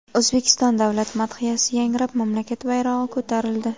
O‘zbekiston davlat madhiyasi yangrab, mamlakat bayrog‘i ko‘tarildi.